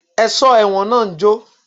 Ẹ̀sọ́ ẹ̀wọ̀n náà ń jó